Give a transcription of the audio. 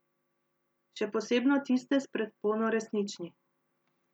Še posebno tiste s predpono resnični.